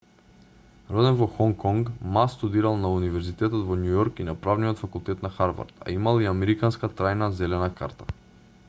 роден во хонг конг ма студирал на универзитетот во њујорк и на правниот факултет на харвард а имал и американска трајна зелена карта